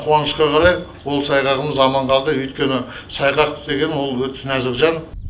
қуанышқа қарай ол сайғағымыз аман қалды өйткені сайғақ деген ол өте нәзік жан